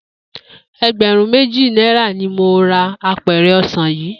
E̩gbè̩rún méjì náírà ni mo ra apè̩rè̩ o̩sà̩n yìí